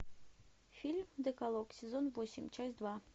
фильм декалог сезон восемь часть два